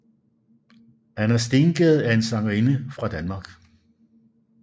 Anna Stengade er en sangerinde fra Danmark